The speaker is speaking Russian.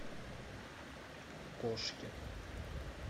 кошки